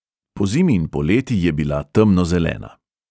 Pozimi in poleti je bila temnozelena.